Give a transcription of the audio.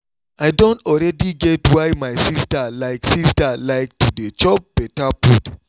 i don already get why my sister like sister like to dey chop better food